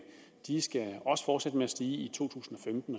også skal med at stige i to tusind og femten